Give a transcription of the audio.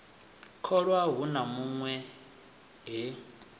tholwa hu na hunwe he